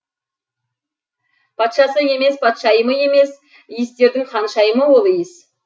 патшасы емес патшайымы емес иістердің ханшайымы ол иіс